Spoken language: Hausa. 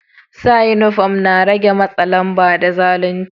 Sa uniform na rege matsa lamba da zalunci.